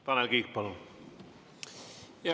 Tanel Kiik, palun!